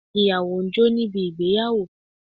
Ìyàwó ń jó níbi ìgbéyàwó